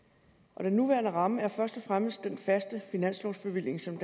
og den nuværende ramme er først og fremmest den faste finanslovsbevilling som